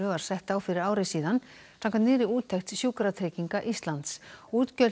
var sett á fyrir ári síðan samkvæmt nýrri úttekt Sjúkratrygginga Íslands útgjöld